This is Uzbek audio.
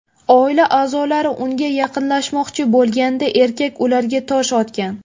Oila a’zolari unga yaqinlashmoqchi bo‘lganida, erkak ularga tosh otgan.